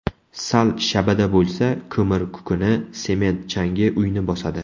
Sal shabada bo‘lsa, ko‘mir kukuni, sement changi uyni bosadi.